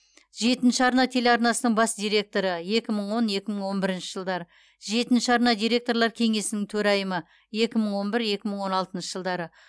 жетінші арна телеарнасының бас директоры екі мың он екі мың он бірінші жылдары жетінші арна директорлар кеңесінің төрайымы екі мың он бір екі мың он алтыншы жылдары